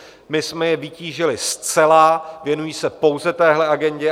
My jsme je vytížili zcela, věnují se pouze téhle agendě.